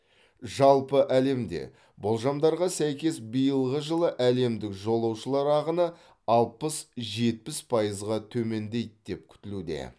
жалпы әлемде болжамдарға сәйкес биылғы жылы әлемдік жолаушылар ағыны алпыс жетпіс пайызға төмендейді деп күтілуде